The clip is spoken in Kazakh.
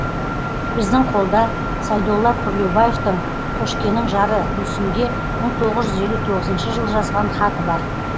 біздің қолда сайдолла күрлеубаевтың қошкенің жары гүлсімге мың тоғыз жүз елу тоғызыншы жылы жазған хаты бар